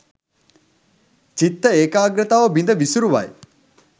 චිත්ත ඒකාග්‍රතාව බිඳ විසුරුවයි.